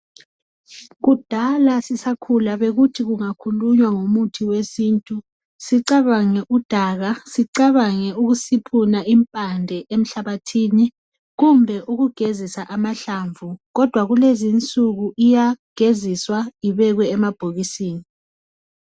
Kudala sisakhula bekuthi kungakhulunywa ngomuthi wesintu sicabange udaka sicabange ukusiphuna impande emhlabathini kumbe ukugezisa amahklamvu kodwa lezinsuku iyageziswa ibekwe emabhokisini.